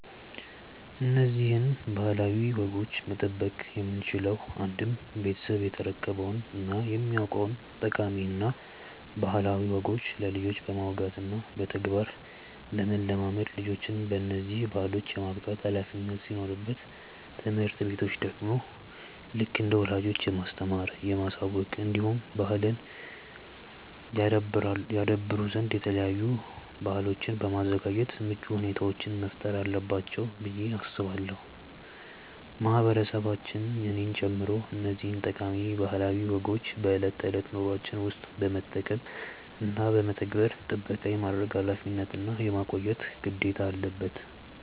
እነዚህን ባህላዊ ወጎች መጠበቅ የምንችለው አንድም ቤተሰብ የተረከበውን እና የሚያውቀውን ጠቃሚ እና ባህላዊ ወጎች ለልጆች በማውጋት እና በተግባር ለማለማመድ ልጆችን በነዚህ ባህሎች የማብቃት ኃላፊነት ሲኖርበት ትምህርት ቤቶች ደግሞ ልክ እንደ ወላጆች የማስተማር፣ የማሳወቅ እንዲሁም ባህልን ያደብሩ ዘንድ የተለያዩ በአሎችን በማዘጋጃት ምቹ ሁኔታዎችን መፍጠር አለባቸው ብዬ አስባለው። ማህበረሰቦች እኔን ጨምሮ እነዚህን ጠቃሚ ባህላዊ ወጎችን በእለት ተእለት ኑሮዎችን ውስጥ በመጠቀም እና በመተግበር ጥበቃ የማድረግ ኃላፊነት እና የማቆየት ግዴታ አለበን።